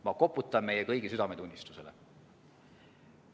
Ma koputan meie kõigi südametunnistusele.